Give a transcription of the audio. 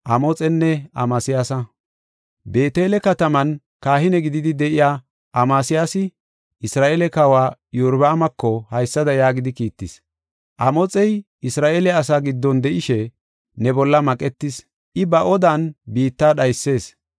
Beetele kataman kahine gididi de7iya Amasiyaasi Isra7eele kawa Iyorbaamako haysada yaagidi kiittis: “Amoxey Isra7eele asaa giddon de7ishe, ne bolla maqetees; I ba odan biitta dhaysees.